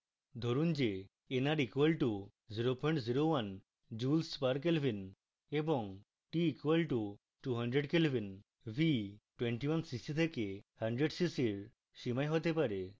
ধরুন যে nr = 001 joules per kelvin এবং t = 200k v 21cc থেকে 100cc nr সীমায় হতে পারে